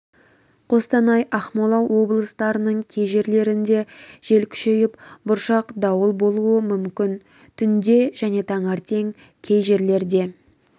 қостанай ақмола облыстарының кей жерлерінде жел күшейіп бұршақ дауыл болуы мүмкін түнде және таңертең кей жерлерде